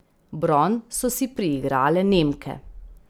Bron so si priigrale Nemke.